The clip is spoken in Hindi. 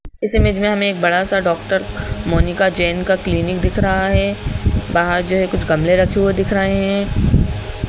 इस इमेज में हमें एक बड़ा सा डॉक्टर मोनिका जैन का क्लीनिक दिख रहा है बाहर जो है कुछ गमले रखे हुए दिख रहे हैं।